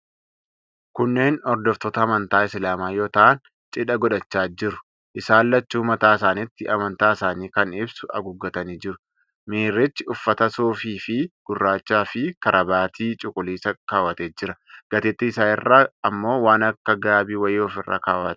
Kunneen hordoftoota amantaa Islaamaa yoo ta'an, chidha godhachaa jiru. Isaan lachuu mataa isaanitti amantaa isaanii kan ibsu haguuggatanii jiru. Miirrichi uffata suufii gurraacha fi karabaatii cuquliisa kaawwatee jira. Gateetti isaa irra ammoo waan akka gaabii wayii ofirra kawwatee jira.